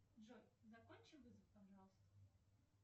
джой закончи вызов пожалуйста